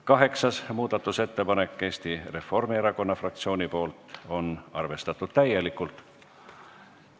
Kaheksas muudatusettepanek on Eesti Reformierakonna fraktsioonilt, on arvestatud täielikult.